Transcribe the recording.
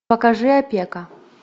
покажи опека